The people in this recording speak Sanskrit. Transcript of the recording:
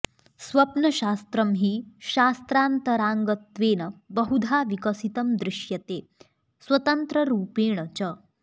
स्वप्नशास्त्रं हि शास्त्रान्तराङ्गत्वेन बहुधा विकसितं दृश्यते स्वतन्त्ररूपेण च